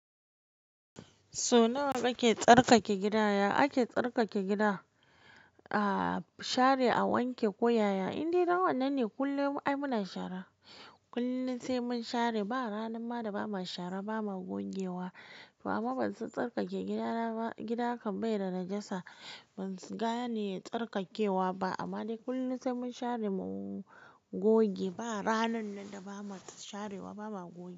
Sau nawa nake tsarkake gidana? Ake tsarkake gida, a share a wanke koyaya, indai dan wannan ne kullum ai muna shara. Kullum sai mun share, ba ranar ma da ba ma shara ba ma gogewa. Amma ban san tsarkake gidana ba, gida kam bai da najasa, ban gane tsarkakewa ba amma dai kullum sai mun share mu goge. Ba ranan nan da ba ma sharewa ba ma goge.